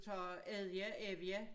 Tager æddja ævia